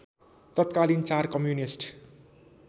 तत्कालीन चार कम्युनिस्ट